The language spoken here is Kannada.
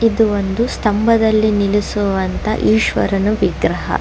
ಇದು ಒಂದು ಸ್ತಬದಲ್ಲಿ ನಿಲ್ಲಿಸುವಂತಹ ಈಶ್ವರನ ವಿಗ್ರಹ.